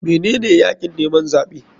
Menene yakin neman zaɓe?